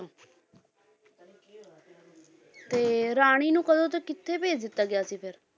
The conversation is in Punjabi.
ਤੇ ਰਾਣੀ ਨੂੰ ਕਦੋਂ ਤੇ ਕਿੱਥੇ ਭੇਜ ਦਿੱਤਾ ਗਿਆ ਸੀ ਫਿਰ।